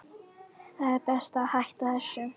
Það er best að hætta þessu.